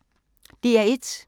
DR1